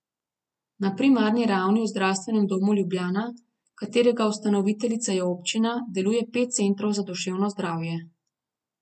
Na primarni ravni v Zdravstvenem domu Ljubljana, katerega ustanoviteljica je občina, deluje pet centrov za duševno zdravje.